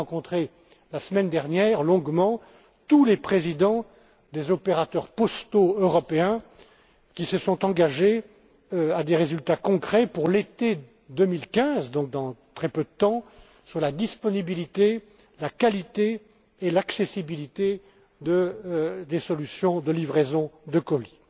J'ai d'ailleurs rencontré longuement la semaine dernière tous les présidents des opérateurs postaux européens qui se sont engagés à des résultats concrets pour l'été 2015, donc dans très peu de temps, sur la disponibilité, la qualité et l'accessibilité des solutions de livraison de colis.